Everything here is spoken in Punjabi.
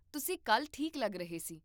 ਤੁਸੀਂ ਕੱਲ੍ਹ ਠੀਕ ਲੱਗ ਰਹੇ ਸੀ